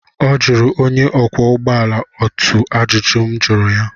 Ọ jụrụ onye ọkwọ ụgbọ ala otu ajụjụ m jụrụ ya